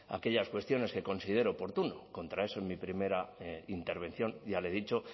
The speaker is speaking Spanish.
aquellas cuestiones que considere oportuno contra eso en mi primera intervención ya le he dicho